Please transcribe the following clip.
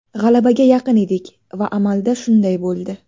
G‘alabaga yaqin edik va amalda shunday bo‘ldi.